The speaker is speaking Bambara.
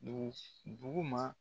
Dugu dugu ma